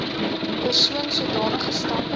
persoon sodanige stappe